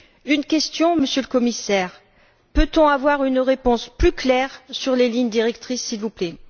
Une question, Monsieur le Commissaire Pouvons nous avoir une réponse plus claire sur les lignes directrices, s'il vous plaît?